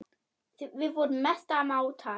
Við vorum mestu mátar.